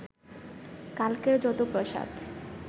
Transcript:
কালকের যত প্রসাদ